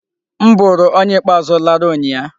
M bụrụ onye ikpeazụ lara ụnyịa.